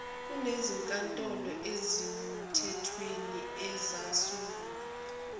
kunezinkantolo ezimthethweni ezasungulwa